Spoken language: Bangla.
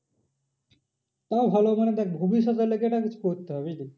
তাও ভালো মানে দেখ ভবিষ্যৎ এর জন্য একটা কিছু করতে হবে বুঝলি।